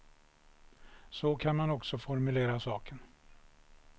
Så kan man också formulera saken.